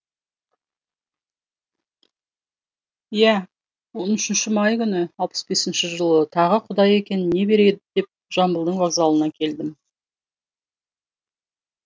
иә он үшінші май күні алпыс бесінші жылы тағы құдай екен не береді деп жамбылдың вокзалына келдім